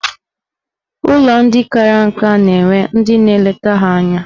Ụlọ ndị kara nka na-enwe ndị na-eleta ha anya.